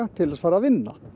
til þess að fara að vinna